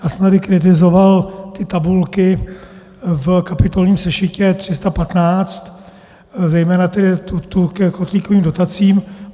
Já jsem tady kritizoval ty tabulky v kapitolním sešitě 315, zejména tu ke kotlíkovým dotacím.